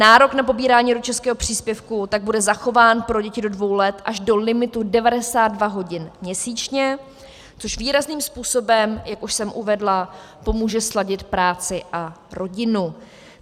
Nárok na pobírání rodičovského příspěvku tak bude zachován pro děti do dvou let až do limitu 92 hodin měsíčně, což výrazným způsobem, jak už jsem uvedla, pomůže sladit práci a rodinu.